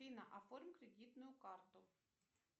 афина оформи кредитную карту